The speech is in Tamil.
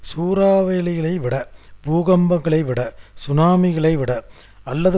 சூறாவளிகளைவிட பூகம்பங்களைவிட சுனாமிகளைவிட அல்லது